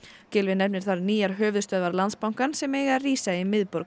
Gylfi nefnir þar nýjar höfuðstöðvar Landsbankans sem eiga að rísa í miðborg